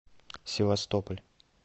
севастополь